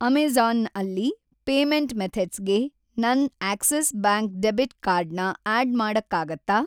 Amazon ಅಲ್ಲಿ payment ಮೆಥಡ್ಸ್‌ಗೆ ನನ್‌ ಆಕ್ಸಿಸ್‌ ಬ್ಯಾಂಕ್ ಡೆಬಿಟ್‌ ಕಾರ್ಡ್ ನ ಆಡ್‌ ಮಾಡಕ್ಕಾಗತ್ತಾ?